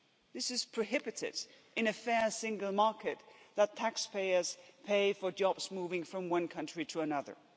It is prohibited in a fair single market that taxpayers pay for jobs moving from one country to another.